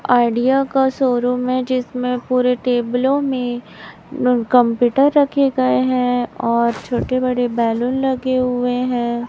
Idea का showroom है जिसमें पूरे टेबलों में कंप्यूटर रखे गए हैं और छोटे बड़े बलून लगे हुए हैं।